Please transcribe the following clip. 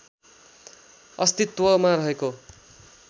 अश्तित्वमा रहेको